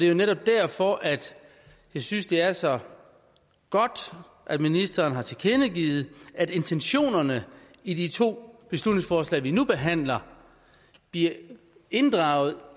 jo netop derfor at jeg synes det er så godt at ministeren har tilkendegivet at intentionerne i de to beslutningsforslag vi nu behandler bliver inddraget